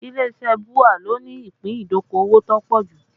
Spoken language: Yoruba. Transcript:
Ilé iṣẹ́ BUA ló ní ìpín ìdókòwò tó pọ̀ jù